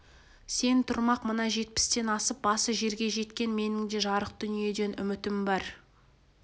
сен тұрмақ мына жетпістен асып басы жерге жеткен менің де жарық дүниеден үмітім бар